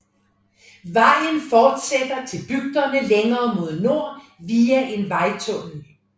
Vejen fortsætter til bygderne længere mod nord via en vejtunnel